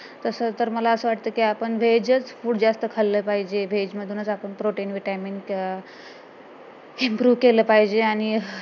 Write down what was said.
तसं तर मला असं वाटत कि आपण veg च food जास्त खाल्लं पाहिजे veg मधूनच आपण protein vitamin improve केलं पाहिजे आणि